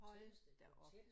Hold da op